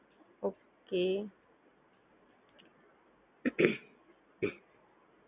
okay